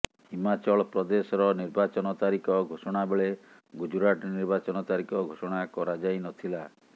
ହିମାଚଳ ପ୍ରଦେଶର ନିର୍ବାଚନ ତାରିଖ ଘୋଷଣାବେଳେ ଗୁଜରାଟ ନିର୍ବାଚନ ତାରିଖ ଘୋଷଣା କରାଯାଇନଥିଲା